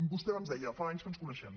vostè abans deia fa anys que ens coneixem